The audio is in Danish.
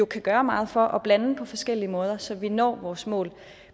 kan gøre meget for at blande dem på forskellige måder så vi når vores mål